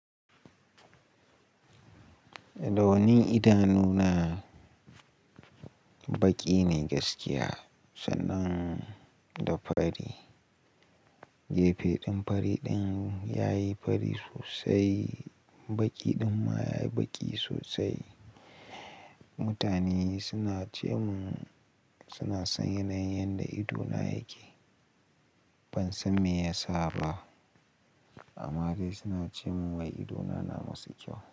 Da wani idanu na, baƙi ne gaskiya sannan da fari. Gefe ɗin fari ɗin yayi fari sosai, baƙi ɗin ma yayi baƙi sosai. Mutane suna ce mun suna san yanayin yanda idona yake. Ban san me yasa ba amma dai suna ce mun wai idona na musu kyau.